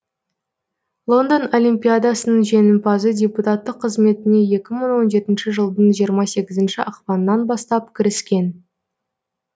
лондон олимпиадасының жеңімпазы депутаттық қызметіне екі мың он жетінші жылдың жиырма сегізінші ақпанынан бастап кіріскен